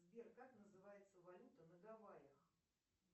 сбер как называется валюта на гавайях